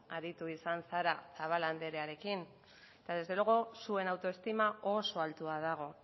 aritu izan zara zabala andrearekin eta desde luego zuen autoestima oso altua dago